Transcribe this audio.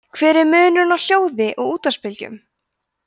hver er munurinn á hljóði og útvarpsbylgjum